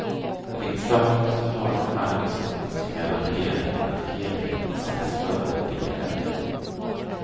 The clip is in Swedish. Riksdagen måste ha en arbetsordning som garanterar att helheten sätts före delen.